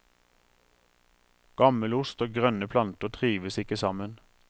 Gammelost og grønne planter trives ikke sammen.